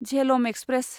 Jhelum express